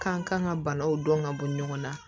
Kan kan ka banaw dɔn ka bɔ ɲɔgɔn na